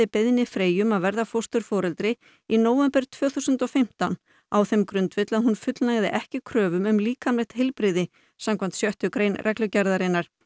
beiðni Freyju um að verða fósturforeldri í nóvember tvö þúsund og fimmtán á þeim grundvelli að hún fullnægði ekki kröfum um líkamlegt heilbrigði samkvæmt sjöttu grein reglugerðarinnar